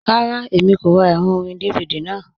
Rárá, Èmi kò rá ẹrọ̀ orín DVD náà.